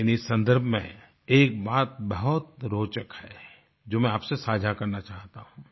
लेकिन इस संदर्भ में एक बात बहुत रोचक है जो मैं आपसे साझा करना चाहता हूँ